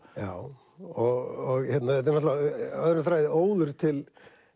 já og þetta er náttúrulega öðrum þræði óður til